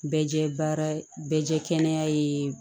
Bɛɛ jɛ baara bɛɛ jɛkɛnɛ ye